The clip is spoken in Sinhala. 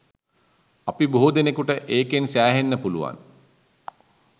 අපි බොහෝ දෙනෙකුට ඒකෙන් සෑහෙන්න පුළුවන්